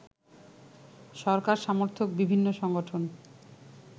সরকার সমর্থক বিভিন্ন সংগঠন